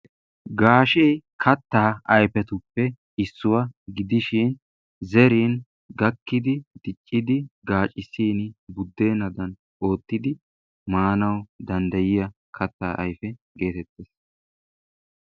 Gaashee kataa ayfetuppe issuwa gidishin zerin gakkidi, diccidi gaacisin budeenadan, ootidi maanawu dandayiyo kataa ayfe.